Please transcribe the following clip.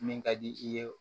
Min ka di i ye